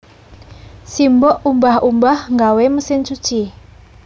Simbok umbah umbah nggawe mesin cuci